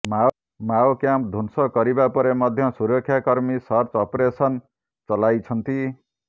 ମାଓକ୍ୟାମ୍ପ ଧ୍ୱଂସ କରିବା ପରେ ମଧ୍ୟ ସୁରକ୍ଷା କର୍ମୀ ସର୍ଚ୍ଚ ଅପରେସନ ଚଲାଇଛନ୍ତି